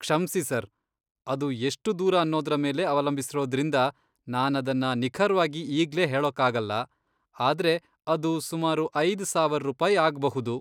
ಕ್ಷಮ್ಸಿ ಸರ್, ಅದು ಎಷ್ಟು ದೂರ ಅನ್ನೋದ್ರ ಮೇಲೆ ಅವಲಂಬಿಸಿರೋದ್ರಿಂದ ನಾನದನ್ನ ನಿಖರ್ವಾಗಿ ಈಗ್ಲೇ ಹೇಳೋಕಾಗಲ್ಲ, ಆದ್ರೆ ಅದು ಸುಮಾರು ಐದ್ ಸಾವರ್ ರೂಪಾಯ್ ಆಗ್ಬಹುದು.